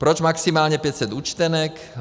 Proč maximálně 500 účtenek?